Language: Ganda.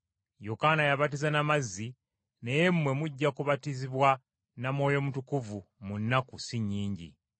‘Yokaana yabatiza na mazzi, naye mmwe mujja kubatizibwa na Mwoyo Mutukuvu mu nnaku si nnyingi.’ ”